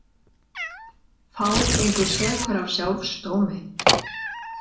Fár gengur sekur af sjálfs dómi.